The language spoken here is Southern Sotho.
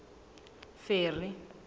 ferry